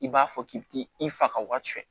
I b'a fɔ k'i bi t'i i faga o ka cɛn